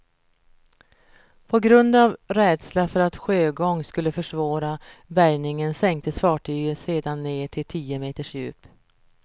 På grund av rädsla för att sjögång skulle försvåra bärgningen sänktes fartyget sedan ned till tio meters djup.